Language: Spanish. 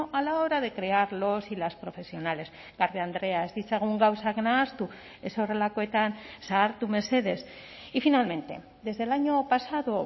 a la hora de crear los y las profesionales garde andrea ez ditzagun gauzak nahastu ez horrelakoetan zahartu mesedez y finalmente desde el año pasado